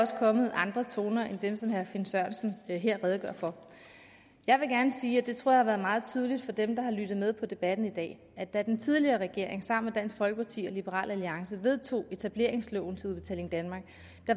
også kommet andre toner end dem som herre finn sørensen her redegør for jeg vil gerne sige og det tror jeg har været meget tydeligt for dem der har lyttet med på debatten i dag at da den tidligere regering sammen med dansk folkeparti og liberal alliance vedtog etableringsloven til udbetaling danmark